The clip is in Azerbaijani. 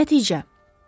Nəticə.